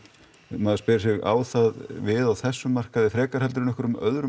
maður spyr sig á það við á þessum markaði frekar heldur en einhverjum öðrum